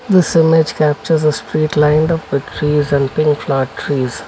this image captures a straight line of the trees and pink flower trees.